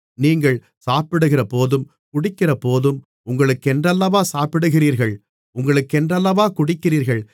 நீங்கள் சாப்பிடுகிறபோதும் குடிக்கிறபோதும் உங்களுக்கென்றல்லவா சாப்பிடுகிறீர்கள் உங்களுக்கென்றல்லவா குடிக்கிறீர்கள்